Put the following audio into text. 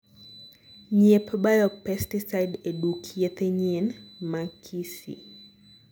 nyiep biopesticide e duk yethe yien ma kisii